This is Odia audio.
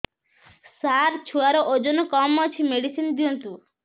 ସାର ଛୁଆର ଓଜନ କମ ଅଛି ମେଡିସିନ ଦିଅନ୍ତୁ